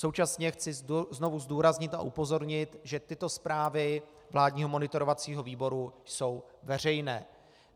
Současně chci znovu zdůraznit a upozornit, že tyto zprávy vládního monitorovacího výboru jsou veřejné.